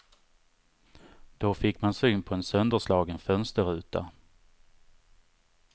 Då fick man syn på en sönderslagen fönsterruta.